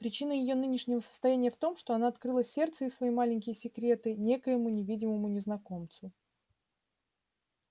причина её нынешнего состояния в том что она открыла сердце и свои маленькие секреты некоему невидимому незнакомцу